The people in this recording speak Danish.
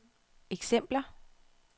eksempler